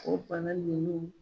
O fana ninnu